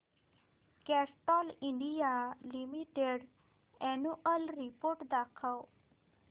Castrol India limited annual report दाखव